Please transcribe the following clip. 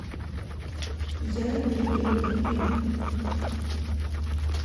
я легенда фильм